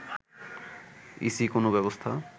EC কোনো ব্যবস্থা